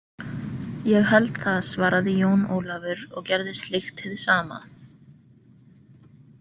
Ég held það, svaraði Jón Ólafur og gerði slíkt hið sama.